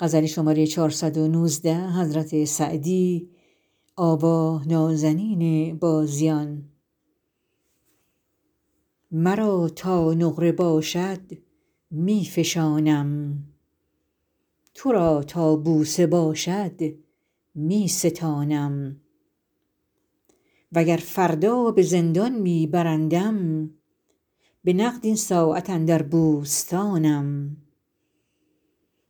مرا تا نقره باشد می فشانم تو را تا بوسه باشد می ستانم و گر فردا به زندان می برندم به نقد این ساعت اندر بوستانم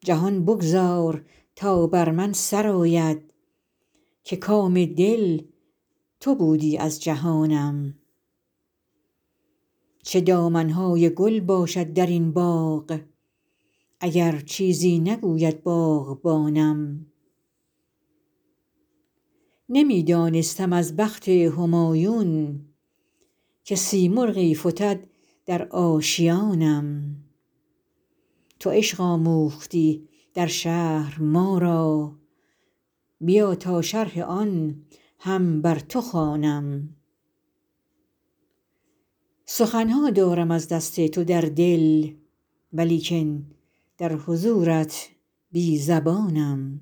جهان بگذار تا بر من سر آید که کام دل تو بودی از جهانم چه دامن های گل باشد در این باغ اگر چیزی نگوید باغبانم نمی دانستم از بخت همایون که سیمرغی فتد در آشیانم تو عشق آموختی در شهر ما را بیا تا شرح آن هم بر تو خوانم سخن ها دارم از دست تو در دل ولیکن در حضورت بی زبانم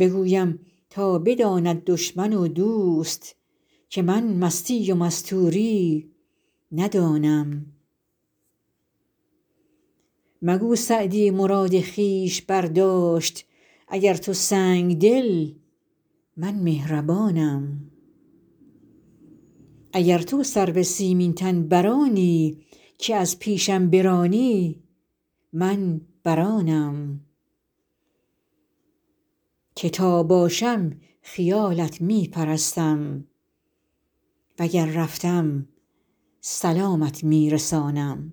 بگویم تا بداند دشمن و دوست که من مستی و مستوری ندانم مگو سعدی مراد خویش برداشت اگر تو سنگدلی من مهربانم اگر تو سرو سیمین تن بر آنی که از پیشم برانی من بر آنم که تا باشم خیالت می پرستم و گر رفتم سلامت می رسانم